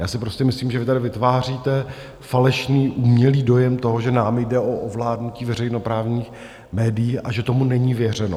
Já si prostě myslím, že vy tady vytváříte falešný, umělý dojem toho, že nám jde o ovládnutí veřejnoprávních médií, a že tomu není věřeno.